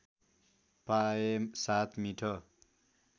पाए साथ मिठो